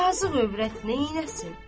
Yazıq övrət neyləsin?